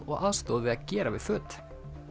og aðstoð við að gera við föt